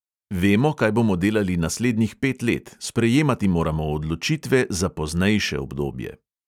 Vemo, kaj bomo delali naslednjih pet let, sprejemati moramo odločitve za poznejše obdobje.